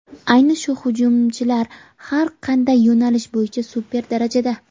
Ayni shu hujumchilar har qanday yo‘nalish bo‘yicha super darajada.